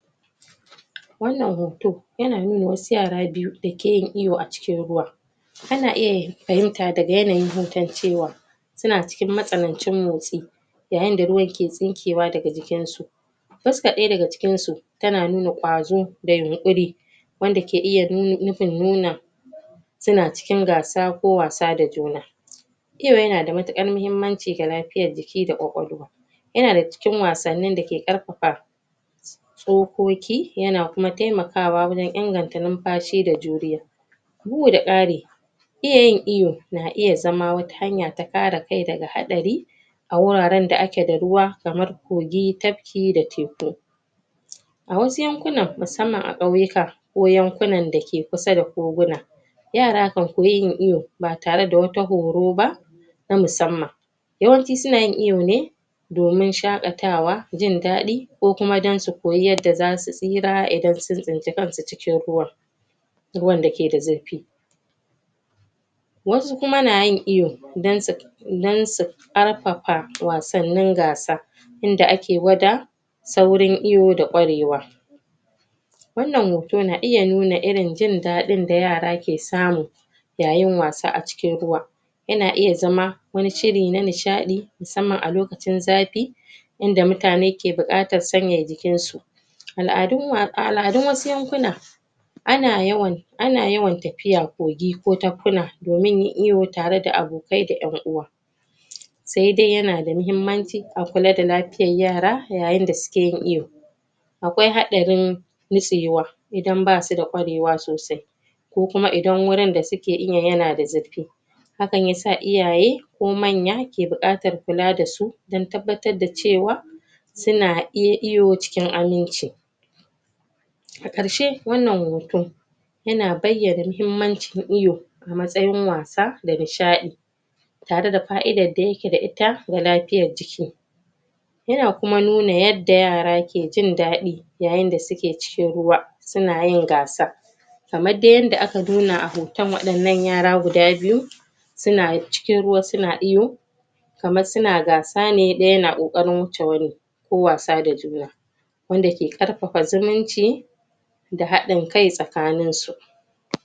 Wannan hoto ya na nuna wasu yara biyu da ke yin iyo a cikin ruwa ka na iya fahinta da ga yanayin hotoncewa su na cikin matsalancen motsi da yanda ruwar ke tsinkewa da ga jikin su fuska daya da ga cikin su, ta na nuna kwazo da yinƙuri wanda ke nuna ihun nuna su na cikin gasa ko wasa da juna Iwo ya na da matakar mahimmanci ga me da lafiyar jiki da kwakwalwa ya na da ga cikin wasani da ke karfafa doƙoƙi ya na kuma taimakawa wurin inganta nufashi da juriya buɗe ƙari Iyayi iwo na iya zama wata hanya ta kara kai da ga haɗari a wuraren da a ke da ruwa kamar kogi, tapki da ceko. A wasu yankuna musamman a kauyuka ko yanƙuna da ke kusa da koguna yara kan koyi yin iwo, ba tare da wata horo ba na musamman yawanci su na yin iwo ne domin shakatawa, jindadi ko kuma dan su koyi yanda za su tsira idan za sun sinci kansu cikin ruwa ruwan da ke da zurfi wasu ku ma na yin iwo dan su dan su karfafa wasannin gasa inda ake gwada sauran iwo da kwarewa wannan hoto na iya nuna irin jindadin da yara ke samu yayin wasa a cikin ruwa ya na iya zama, wani shiri na nashadi, musamman a lokacin zafi inda mutane ke bukata sanya cikin su aladun wakala, dun wasu yankuna a na yawan, a na yawan tafiya kogi ko takuna domin ƴin iyo tare da abokai da ƴanuwa sai dai ya na da muhimmanci a kulla da lafiyar yara, ƴayin da su ke yin iyo. Akwai haddirin na tsayiwa idan ba su da kwarewa sosai ko kuma idan wurin da su ke iyan ya na da zurfi hakkan ya sa iyaye ko manya ke bukatar kulla da su, dan tabbatar da cewa su na ƴin iyo cikin aminci A karshe wannan hoto ya na bayyana muhimmancin iyo a matsayin wasa da nashadi. tare da fa'idar da ya ke da ita da lafiyar jiki ya na kuma nuna yadda yara ke jindadi ƴayin da su ke cikin ruwa, su na yin gasa kamar dai yadda aka nuna a hoton wadannan yara guda biyu su na cikin ruwa su na iyo kamar su na gasa ne, daya ya na ƙoƙari wucce wani ko wasa da juna wanda ke karfafa zumunci da haɗin kai tsakanin su